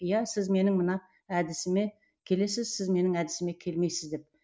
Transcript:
иә сіз менің мына әдісіме келесіз сіз менің әдісіме келмейсіз деп